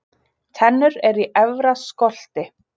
Tennur eru í efra skolti.